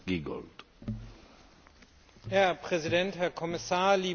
Herr Präsident, Herr Kommissar, liebe Kolleginnen und Kollegen!